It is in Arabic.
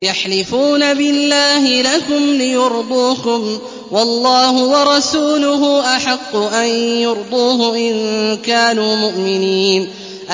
يَحْلِفُونَ بِاللَّهِ لَكُمْ لِيُرْضُوكُمْ وَاللَّهُ وَرَسُولُهُ أَحَقُّ أَن يُرْضُوهُ إِن كَانُوا مُؤْمِنِينَ